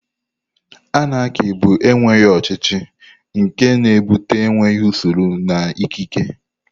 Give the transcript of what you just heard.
Anarki bụ enweghị ọchịchị, nke na-ebute enweghị usoro na ikike.